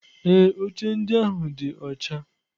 Ee, oche ndị ahụ dị ọcha.